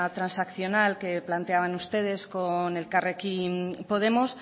transaccional que planteaban ustedes con elkarrekin podemos